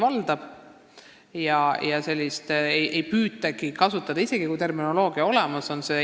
Eesti keelt ei püütagi kasutada, isegi kui terminoloogia on olemas.